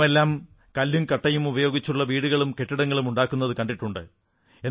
നാമെല്ലാം കല്ലും കട്ടയുമുപയോഗിച്ചുള്ള വീടുകളും കെട്ടിടങ്ങളും നിർമ്മിക്കുന്നതു കണ്ടിട്ടുണ്ട്